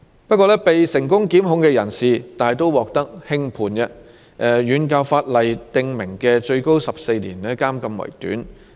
不過，被成功檢控的人士大都獲得輕判，遠較法例訂明的最高14年監禁期為短。